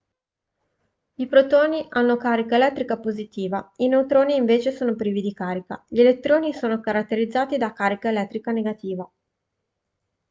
i protoni hanno carica elettrica positiva i neutroni invece sono privi di carica gli elettroni sono caratterizzati da carica elettrica negativa